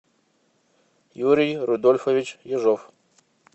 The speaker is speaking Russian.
юрий рудольфович ежов